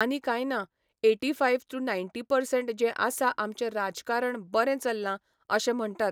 आनी काय ना ऐटिफायव टू नायटी पर्संट जें आसा आमचें राजकारण बरें चल्ला अशें म्हणटात.